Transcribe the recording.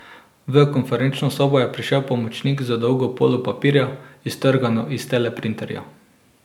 V konferenčno sobo je prišel pomočnik z dolgo polo papirja, iztrgano iz teleprinterja.